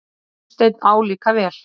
Gunnsteinn álíka vel.